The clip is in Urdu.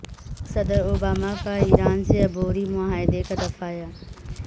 صدر اوباما کا ایران سے عبوری معاہدے کا دفاع